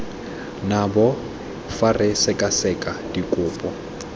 nabo fa re sekaseka dikopo